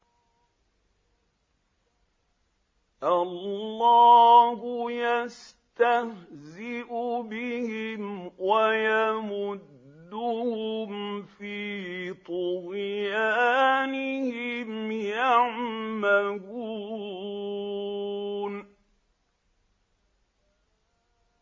اللَّهُ يَسْتَهْزِئُ بِهِمْ وَيَمُدُّهُمْ فِي طُغْيَانِهِمْ يَعْمَهُونَ